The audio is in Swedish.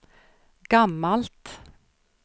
gammalt